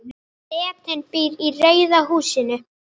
Bretinn býr í rauða húsinu.